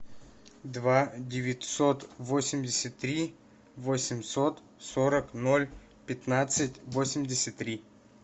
два девятьсот восемьдесят три восемьсот сорок ноль пятнадцать восемьдесят три